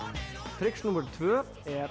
trix númer tvö er